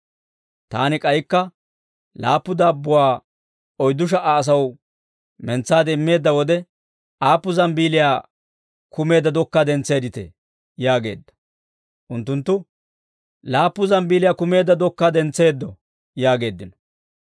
«Taani k'aykka laappu daabbuwaa oyddu sha"a asaw mentsaade immeedda wode, aappun zambbeeliyaa kumeedda dokkaa dentseedditee?» yaageedda. Unttunttu, «Laappu zambbeeliyaa kumeedda dokkaa dentseeddo» yaageeddino.